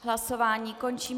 Hlasování končím.